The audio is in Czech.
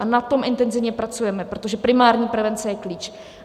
A na tom intenzivně pracujeme, protože primární prevence je klíč.